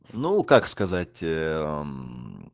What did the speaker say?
ну как сказать